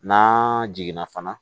N'an jiginna fana